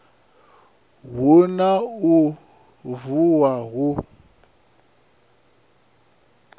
hu na u vuwa hu